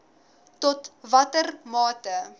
tot watter mate